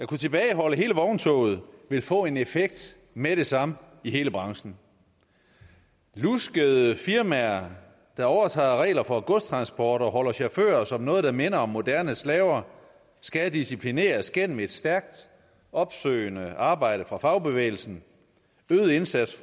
kunne tilbageholde hele vogntoget vil få en effekt med det samme i hele branchen luskede firmaer der overtræder regler for transport og holder chauffører som nogen der minder om moderne slaver skal disciplineres gennem et stærkt opsøgende arbejde fra fagbevægelsen øget indsats